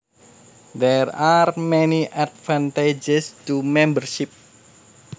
There are many advantages to membership